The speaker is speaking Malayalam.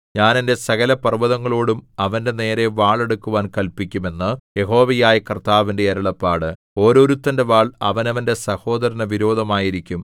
ഞാൻ എന്റെ സകലപർവ്വതങ്ങളോടും അവന്റെനേരെ വാളെടുക്കുവാൻ കല്പിക്കും എന്ന് യഹോവയായ കർത്താവിന്റെ അരുളപ്പാട് ഓരോരുത്തന്റെ വാൾ അവനവന്റെ സഹോദരനു വിരോധമായിരിക്കും